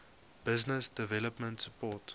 business development support